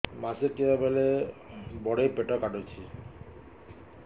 ମାସିକିଆ ବେଳେ ବଡେ ପେଟ କାଟୁଚି